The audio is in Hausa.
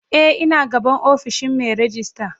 Eh ina gaban ofishin Mai rejista.